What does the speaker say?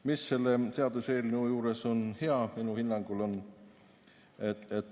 Mis on selle seaduseelnõu juures minu hinnangul hea?